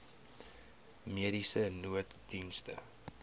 mediese nooddienste